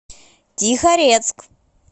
тихорецк